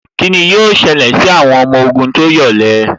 Kíni yóò ṣẹlẹ̀ sí àwọn ọmọ ogun tó yọ̀lẹ